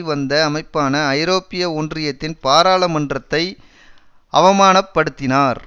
வந்த அமைப்பான ஐரோப்பிய ஒன்றியத்தின் பாராளுமன்றத்தை அவமானப்படுத்தினார்